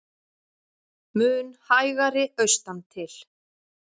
Mun hægari austantil